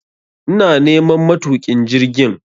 ina neman matukin jirgin